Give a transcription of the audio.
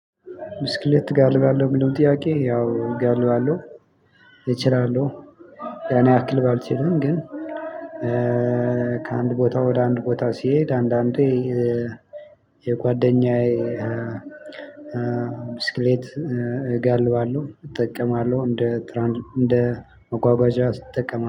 ብስክሌት ትጋልባለህ እሚለውን ጥያቄ? ያው እጋልባለሁ እችላለሁ። ያን ያክል ባልችልም ግን። ከአንድ ቦታ ወደ አንድ ቦታ ስሄድ አንዳንዴ የጓደኛዬ ብስክሌት እጋልባለሁ። እጠቀማለሁ እንደ እንደ መጓጓዣ እጠቀማለሁ